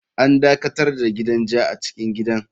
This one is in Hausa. An dakatar da gidan ja a cikin gidan.